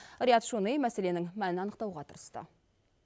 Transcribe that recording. риат шони мәселенің мәнін анықтауға тырысты